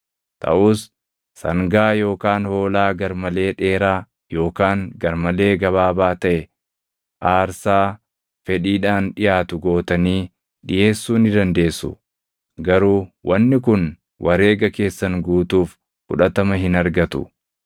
Taʼus sangaa yookaan hoolaa gar malee dheeraa yookaan gar malee gabaabaa taʼe aarsaa fedhiidhaan dhiʼaatu gootanii dhiʼeessuu ni dandeessu; garuu wanni kun wareega keessan guutuuf fudhatama hin argatu.